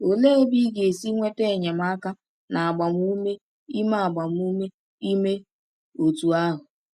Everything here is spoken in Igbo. Olee ebe ị ga-esi nweta enyemaka na agbamume ime agbamume ime otú ahụ?